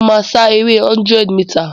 Mo máa sá ere 100 mità